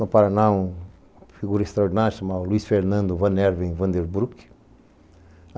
No Paraná, uma figura extraordinária chamada Luiz Fernando Van Erwin van der Broeck.